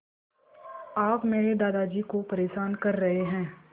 आप मेरे दादाजी को परेशान कर रहे हैं